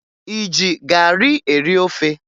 Ị ji garị eri ofe?